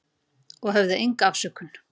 Og höfðum enga afsökun.